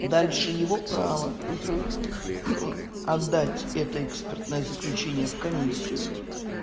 дальше его права отдать это экспертное заключение в комиссию